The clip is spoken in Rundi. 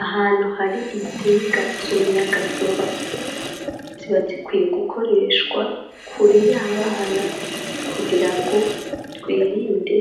Ahantu hari intsinga z'umuyagankuba ziba zikwiye gukoreshwa kure y'abana kugira ngo twirinde